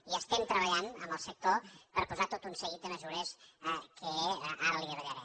hi estem treballant amb el sector per posar tot un seguit de mesures que ara li davallaré